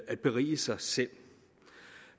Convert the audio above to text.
at berige sig selv